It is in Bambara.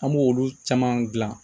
An b'olu caman gilan